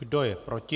Kdo je proti?